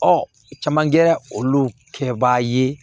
caman kɛra olu kɛba ye